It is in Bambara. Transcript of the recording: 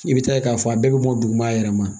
I bɛ taa ye k'a fɔ a bɛɛ bɛ bɔ duguma yɛrɛ ma